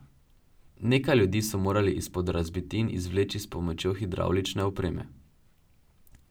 Nekaj ljudi so morali izpod razbitin izvleči s pomočjo hidravlične opreme.